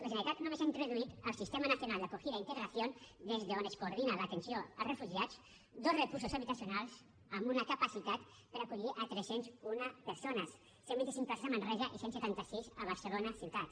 la generalitat només ha introduït al sistema nacional de acogida e integración des d’on es coordina l’atenció als refugiats dos recursos habitacionals amb una capacitat per acollir tres cents i un persones cent i vint cinc places a manresa i cent i setanta sis a barcelona ciutat